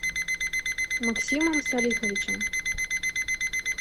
максимом салиховичем